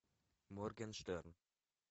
моргенштерн